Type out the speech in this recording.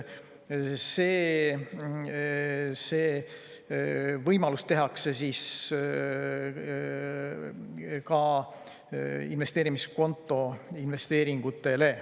See võimalus ka investeerimiskonto investeeringutele.